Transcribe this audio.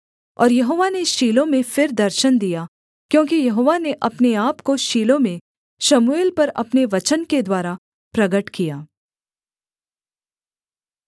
और यहोवा ने शीलो में फिर दर्शन दिया क्योंकि यहोवा ने अपने आपको शीलो में शमूएल पर अपने वचन के द्वारा प्रगट किया